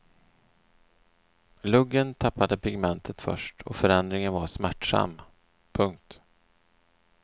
Luggen tappade pigmentet först och förändringen var smärtsam. punkt